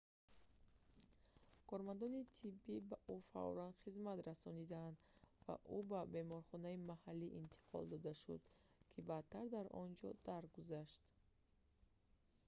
кормандони тиббӣ ба ӯ фавран хизмат расониданд ва ӯ ба беморхонаи маҳаллӣ интиқол дода шуд ки баъдтар дар он ҷо даргузашт